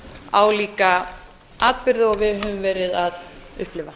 álíka atburði og við höfum verið að upplifa